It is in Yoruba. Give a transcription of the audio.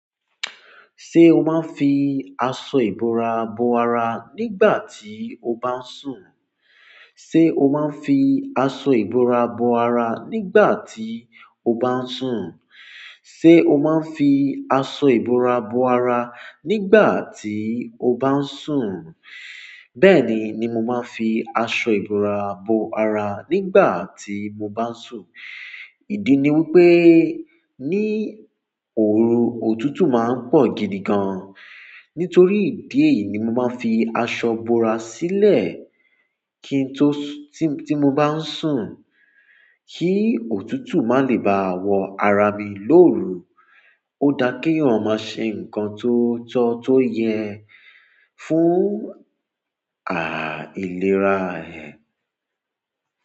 Ṣé o máa ń fi aṣọ ìbora bo ara nígbà tí o bá ń sùn? Ṣé ṣé o maa n fi aṣọ ìbora bo ara nigbati o ba n sun, bẹ́ẹ̀ni ni mo ma n fi aṣọ ìbora bo ara nigbati mo ba n sun, idi ni wípé ní òru òtútù máa ń pọ̀ gidi gan. Nítorí ìdí èyí ni mo máa ń fi aṣọ ìbora sílẹ̀ kí n tó sùn-- tí, tí mo bá ń sùn kí òtútù má lè ba wọ ara mi lóru. Ó dá kí eeyan ma ṣe ǹkan tó tọ tó yẹ fún, ìlera rẹ̀.